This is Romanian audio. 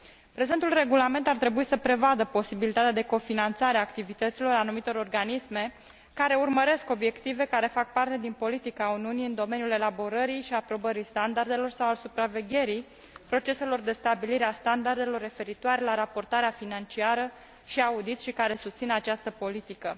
Prezentul regulament ar trebui să prevadă posibilitatea de cofinanțare a activităților anumitor organisme, care urmăresc obiective care fac parte din politica Uniunii în domeniul elaborării și aprobării standardelor sau al supravegherii proceselor de stabilire a standardelor referitoare la raportarea financiară și audit și care susțin această politică.